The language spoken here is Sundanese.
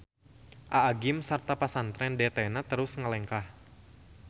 Aa gym sarta Pasantren DT-na terus ngalengkah.